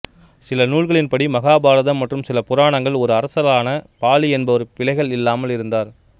சில நூல்களின்படி மகாபாரதம் மற்றும் சில புராணங்கள் ஒரு அரசனான பாலி என்பவர் பிளைகள் இல்லாமல் இருந்தார்